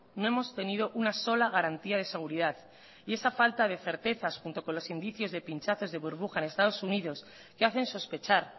no hemos tenido una sola garantía de seguridad y esa falta de certezas junto con los indicios de pinchazos de burbujas en estados unidos que hacen sospechar